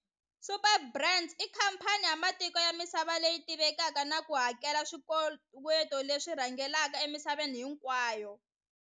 Superbrands i khamphani ya matiko ya misava leyi tivekaka na ku hakela swikoweto leswi rhangelaka emisaveni hinkwayo.